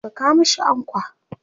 Saka mashi ankwa!